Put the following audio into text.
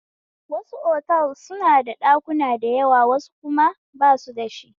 Wasu otals suna da ɗakuna da yawa wasu kuma basu dashi